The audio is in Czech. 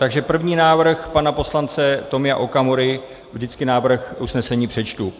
Takže první návrh pana poslance Tomia Okamury - vždycky návrh usnesení přečtu.